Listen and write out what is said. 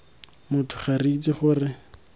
motho ga re itse gore